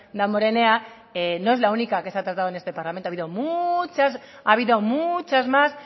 damborenena no es la única que se ha tratado en este parlamento ha habido muchas más